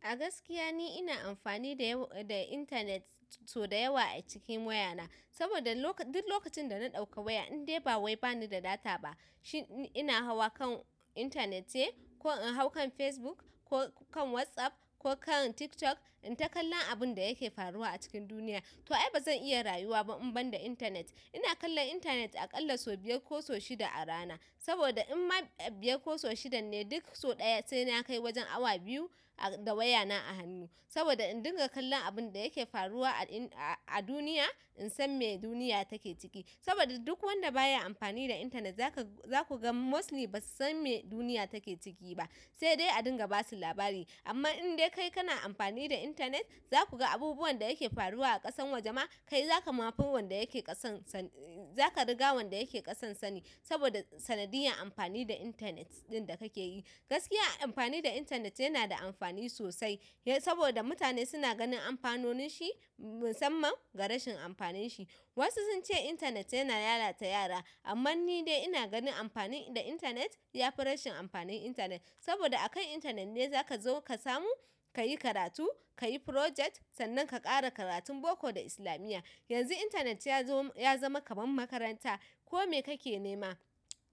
A gaskiya ni ina amfani da yawa da intanet sau da yawa a cikin wayana. Saboda lokacin duk lokacin da na ɗauka waya in dai ba wai bani da data ba. Shin ina hawa kan intanet ce, ko in hau kan Facebook, ko kan WhatsApp ko kan TikTok in ta kallon abin da yake faruwa a cikin duniya. To ai ba zan iya rayuwa ba in banda intanet ina kallon intanet aƙalla sau biyar ko sau shida a rana. Saboda in ma biyar ko sau shidan ne duk sau ɗaya sai na kai wajen awa biyu da wayana a hannu. Saboda in dinga kallon abun da yake faruwa a duniya in san me duniya take ciki. Saboda duk wanda baya amfani da intanet za ka, za ku ga mostly ba su san me duniya take ciki ba. Sai dai a dinga ba su labari. Amma in dai kai kana amfani da intanet, za ku ga abubuwan da yake faruwa a ƙasan wajama kai za ka mafin wanda yake ƙasan sani, za ka riga wanda yake ƙasan sani. Saboda sanadiyar amfani da intanet ɗin da kake yi. Gaskiya amfani da intanet yana da amfani sosai. Saboda mutane suna ganin amfanonin shi musamman ga rashin amfanin shi. Wasu sun ce intanet yana lalata yara, amma ni dai ina ganin amfani da intanet ya fi rashin amfanin intanet. Saboda a kan intanet ne za ka zo ka samu, ka yi karatu, ka yi project sannan ka ƙara karatun boko da islamiyya. Yanzu intanet yazo ya zama kamar makaranta ko me kake nema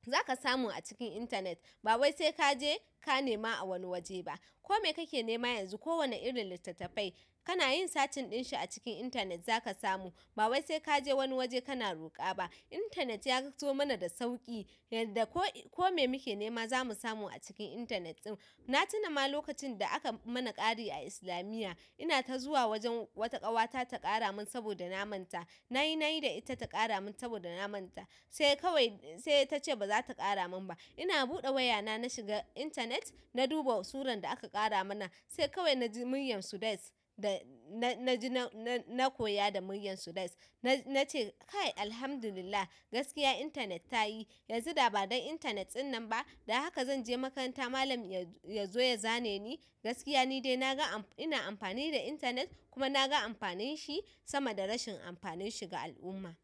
za ka samu a cikin intanet. Ba wai sai ka je ka nema a wani waje ba. Ko me kake nema yanzu kowane irin littattafai kana yin searching ɗin shi a cikin intanet za ka samu. Ba wai sai ka je wani waje kana roƙa ba. Intanet ya zo mana da sauƙi. Yadda ko ko me muke nema za mu samu a cikin intanet ɗin. Na tuna ma lokacin da aka mana ƙari a islamiyya, ina ta zuwa wajen wata ƙawata ta ƙara mun saboda na manta. Na yi, na yi da ita ta ƙara mun saboda na manta. Sai kawai sai ta ce ba za ta ƙara mun ba. Ina buɗe wayana na shiga intanet na duba suran da aka ƙara mana. Sai kawai na ji muryar Sudais da na, na ji na, na koya da muryar Sudais. Na ce kai Alhamdulillah gaskiya intanet ta yi. Yanzu da ba don intanet ɗin nan ba da haka zan je makaranta malam ya zo ya zane ni. Gaskiya ni dai naga amfanin ina amfani da intanet kuma naga amfanin shi sama ga rashin amfanin shi ga al'umma.